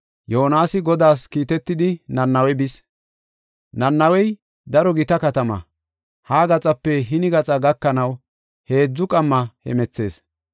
Yoonasi Godaas kiitetidi Nanawe bis. Nanawey daro gita katama. Ha gaxape hini gaxa gakanaw heedzu qamma hemethees.